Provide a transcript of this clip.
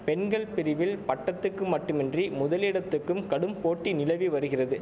பெண்கள் பிரிவில் பட்டத்துக்கு மட்டுமின்றி முதலிடத்துக்கும் கடும் போட்டி நிலவி வருகிறது